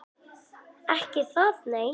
Ekki það nei.